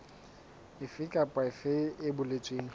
efe kapa efe e boletsweng